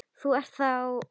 Þú ert þá.?